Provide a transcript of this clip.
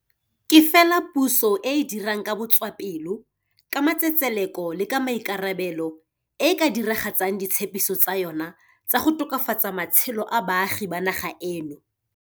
Ke fela puso e e dirang ka botswapelo, ka matsetseleko le ka maikarabelo e e ka dira gatsang ditshepiso tsa yona tsa go tokafatsa matshelo a baagi ba naga eno.